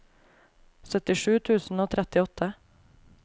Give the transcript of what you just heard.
syttisju tusen og trettiåtte